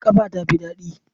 Kafa tafi ɗani.